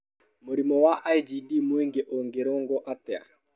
Mũrimũ wa IgD mũingĩ ũngĩrũngwo atĩa?